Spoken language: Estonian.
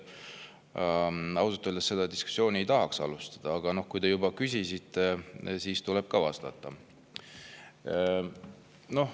Ausalt öeldes ei tahaks seda diskussiooni alustada, aga kui te juba küsisite, siis tuleb ka vastata.